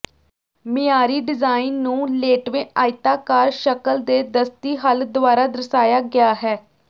ਮਿਆਰੀ ਡਿਜ਼ਾਇਨ ਨੂੰ ਲੇਟਵੇਂ ਆਇਤਾਕਾਰ ਸ਼ਕਲ ਦੇ ਦਸਤੀ ਹੱਲ ਦੁਆਰਾ ਦਰਸਾਇਆ ਗਿਆ ਹੈ